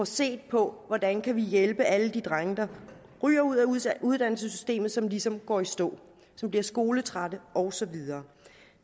set på hvordan vi kan hjælpe alle de drenge der ryger ud af uddannelsessystemet og som ligesom går i stå som bliver skoletrætte og så videre